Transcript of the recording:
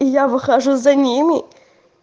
и я выхожу за ними